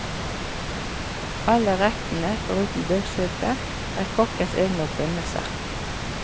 Alle rettene, foruten løksuppen, er kokkens egne oppfinnelser.